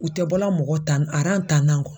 U tɛ bɔla mɔgɔ tan tan na kɔ.